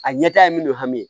A ɲɛtaga ye minnu hami